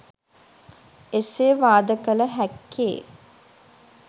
එසේ වාද කළ හැක්කේ